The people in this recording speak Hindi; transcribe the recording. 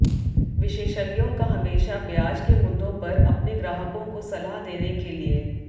विशेषज्ञों का हमेशा ब्याज के मुद्दों पर अपने ग्राहकों को सलाह देने के लिए